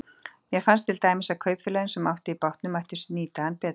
Mér fannst til dæmis að kaupfélögin, sem áttu í bátnum, mættu nýta hann betur.